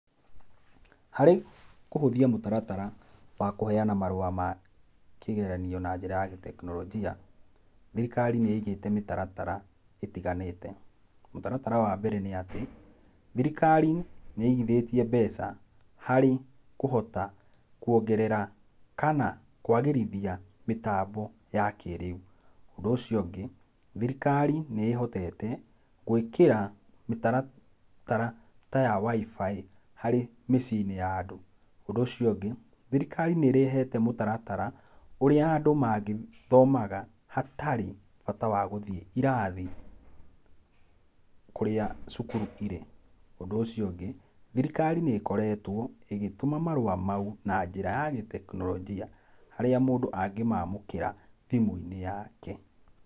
Harĩ kũhũthia mũtaratara wa kũheana marũa ma kĩgeranio na njĩra ya gĩtekinoronjia, thirikari nĩ igĩte mĩtaratara ĩtiganĩte. Mũtaratara wa mbere nĩ atĩ, thirikari nĩ igithĩtie mbeca harĩ kũhota kuongerera kana kwagĩrithia mĩtambo ya kĩrĩu. Ũndũ ũcio ũngĩ, thirikari nĩ ĩhotete gwĩkĩra mĩtaratara ta ya wi-fi harĩ mĩciĩ-inĩ ya andũ. Ũndũ ũcio ũngĩ, thirikari nĩĩrehete mũtaratara ũria andũ mangĩthomaga hatarĩ bata wa gũthiĩ irathi kũrĩa cukuru irĩ. Ũndũ ũcio ũngĩ, thirikari nĩ ĩkoretwo ĩgĩtuma marũa mau na njĩra ya gĩtekinoronjia harĩa mũndũ angĩmamũkĩra thimũ-inĩ yake.